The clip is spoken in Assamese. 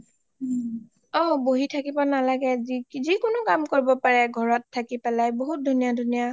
অ বহি থাকিব নালাগে যিকোনো কাম কৰিব পাৰে থাকিব পাৰে বহুত ধুনীয়া ধুনীয়া